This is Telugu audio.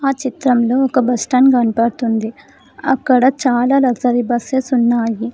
చిత్రంలో ఒక బస్టాండ్ కనబడుతుంది అక్కడ చాలా లగ్జరీ బస్సెస్ ఉన్నాయి.